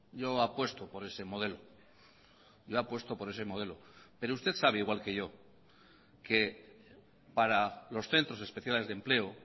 yo apuesto por ese modelo yo apuesto por ese modelo pero usted sabe igual que yo que para los centros especiales de empleo